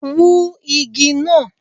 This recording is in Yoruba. Wú igi náà!